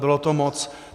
Bylo to moc.